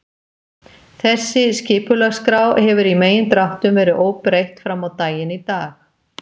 Þessi skipulagsskrá hefur í megindráttum verið óbreytt frammá daginn í dag.